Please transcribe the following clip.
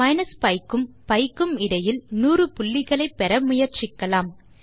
minus B க்கும் B க்கும் இடையில் 100 புள்ளிகளை பெற முயற்சிக்கலாம்